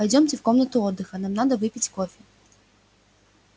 пойдёмте в комнату отдыха нам надо выпить кофе